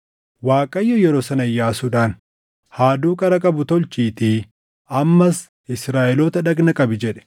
Waaqayyo yeroo sana Iyyaasuudhaan, “Haaduu qara qabu tolchiitii ammas Israaʼeloota dhagna qabi” jedhe.